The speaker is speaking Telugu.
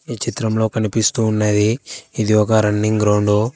ఈ చిత్రంలో కనిపిస్తున్నది ఇది ఒక రన్నింగ్ గ్రౌండు .